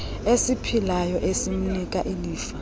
esiphilayo esimnika ilifa